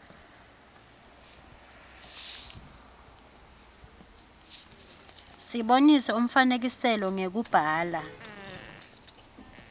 sibonise umfakisicelo ngekubhala